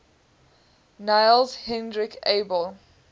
niels henrik abel